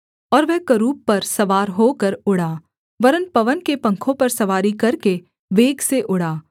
और वह करूब पर सवार होकर उड़ा वरन् पवन के पंखों पर सवारी करके वेग से उड़ा